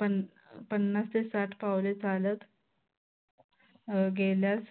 पन पन्नास ते साठ पाऊले चालत. अं गेल्यास